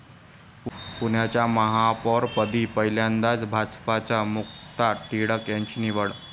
पुण्याच्या महापौरपदी पहिल्यांदाच भाजपच्या मुक्ता टिळक यांची निवड